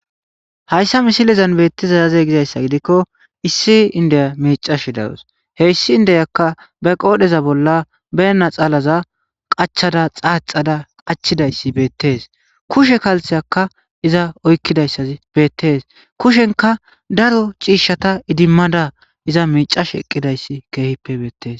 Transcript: hayssa misilezan beettiza yaze gizayssa gidikko issi indeya miicash darus heyssi indeyakka be qoodheza bolla beenna xaalaza qachada xaaxada qachidayssi beettees kushe kaltheyakka iza oykkidayssazi beettees kushenka daro ciishshata idimmada iza miicash eqqidayssi keehippe beettes